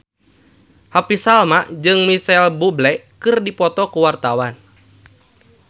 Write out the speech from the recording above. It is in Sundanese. Happy Salma jeung Micheal Bubble keur dipoto ku wartawan